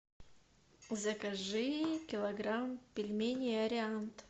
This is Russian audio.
закажи килограмм пельменей ариант